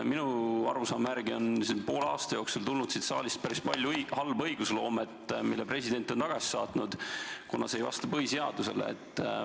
Minu arusaama järgi on poole aasta jooksul tulnud siit saalist päris palju halba õigusloomet, mille president on tagasi saatnud, kuna see pole vastanud põhiseadusele.